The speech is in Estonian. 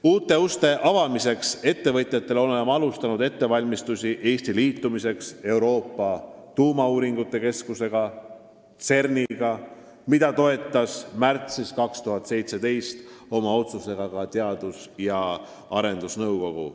Uute uste avamiseks ettevõtjatele oleme alustanud ettevalmistusi Eesti liitumiseks Euroopa Tuumauuringute Keskuse ehk CERN-iga, mida toetas märtsis 2017 oma otsusega ka Teadus- ja Arendusnõukogu.